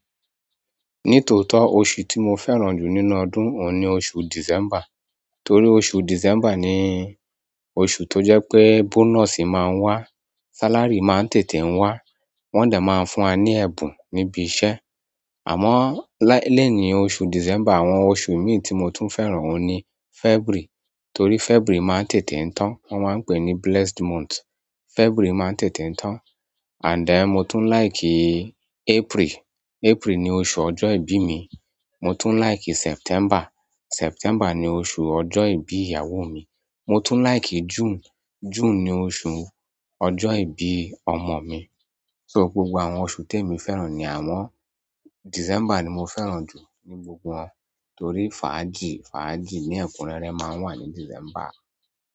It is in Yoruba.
Ní tòótọ́, oṣù tí mo fẹ́ràn jù nínú ọdún òun ni oṣù December. Torí oṣù December ni oṣù tó jẹ́ pé bonus máa ń wá, salary máa ń tètè ń wá, wọ́n dà máa ń fún wa ní ẹ̀bùn níbi iṣẹ́. Àmọ́, lẹ́ẹ̀ínì oṣù December, àwọn oṣù mí tí mo tún fẹ́ràn òun ni February. Torí February máa ń tètè ń tán, wọ́n máa ń pè ní blessed month. February máa ń tètè ń tán. Àndẹ̀, mo tún like April. April ni oṣù ọjọ́ ìbí mi. Mo tún like September. September ni oṣù ọjọ́ ìbí ìyàwó mi. Mo tún like June. June ni oṣù ọjọ́ ìbí ọmọ mi. So gbogbo àwọn oṣù téè mi fẹ́ràn ni àwọn-- December ni mo fẹ́ràn jù ní gbogbo wọn torí fàájì, fàájì ní ẹ̀kúnrẹ́rẹ́ máa ń wà ní December.